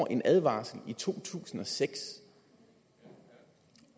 en advarsel i to tusind og seks